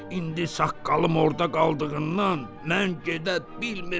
İndi saqqalım orda qaldığından mən gedə bilmirəm.